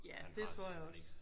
Ja det tror jeg også